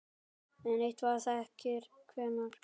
Enn eitt: Hver þekkir hvern?